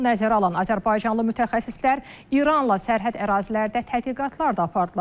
Bunu nəzərə alan azərbaycanlı mütəxəssislər İranla sərhəd ərazilərdə tədqiqatlar da apardılar.